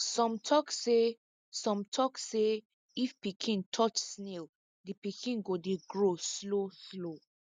some tok say some tok say if pikin touch snail di pikin go dey grow slow slow